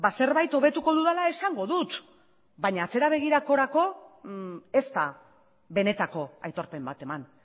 zerbait hobetuko dudala esango dut baina atze abegirakorako ez da benetako aitorpen bat eman